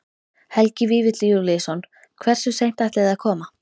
Helgi Vífill Júlíusson: Hversu seint ætlið þið að koma?